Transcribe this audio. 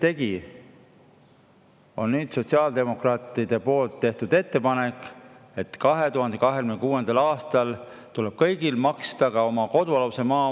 Nüüd on sotsiaaldemokraatide poolt tehtud ettepanek, et 2026. aastal tuleb kõigil maksta ka oma kodualuse maa eest.